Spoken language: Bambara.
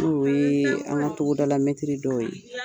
N'o ye an ka togodala metiri dɔw ye.